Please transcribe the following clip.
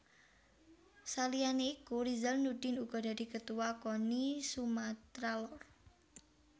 Saliyane iku Rizal Nurdin uga dadi Ketuwa Koni Sumatra Lor